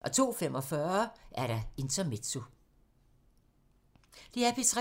DR P3